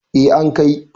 eh an Kai